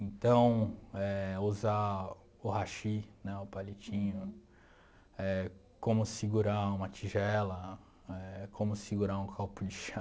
Então éh, usar o hashi, né o palitinho, éh como segurar uma tigela, éh como segurar um copo de chá.